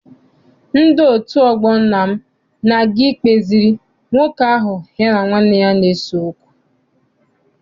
Ndị otu ọgbọ nna m na-aga ikpeziri nwoke ahụ ya na nwanne ya na-ese okwu.